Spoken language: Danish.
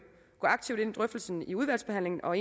gå aktivt ind i drøftelsen i udvalgsbehandlingen og